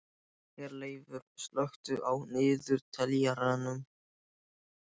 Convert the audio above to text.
Herleifur, slökktu á niðurteljaranum.